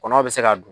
Kɔnɔ bɛ se ka dun